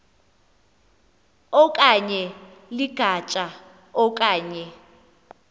okanye ligatya okanye